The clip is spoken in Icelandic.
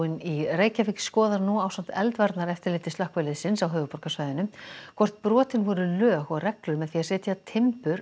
í Reykjavík skoðar nú ásamt eldvarnareftirliti slökkviliðsins á höfuðborgarsvæðinu hvort brotin voru lög og reglur með því að setja timbur